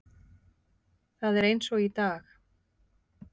Það er eins og í dag.